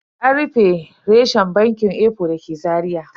An rufe reshen bankin eco da ke Zaria.